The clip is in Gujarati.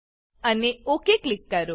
અને ઓક ક્લિક કરો